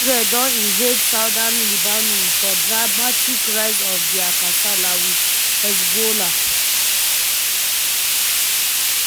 israel don invade southern lebanon for dramatic rise of dia kasala wit hezbollah.